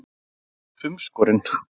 En þú ert umskorinn.